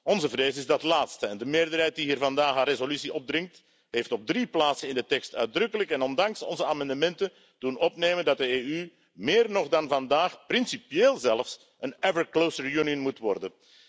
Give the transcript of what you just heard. Onze vrees is dat laatste, en de meerderheid die hier vandaag een resolutie opdringt, heeft op drie plaatsen in de tekst uitdrukkelijk en ondanks onze amendementen laten opnemen dat de EU, meer nog dan vandaag, principieel zelfs, een ever closer Union moet worden.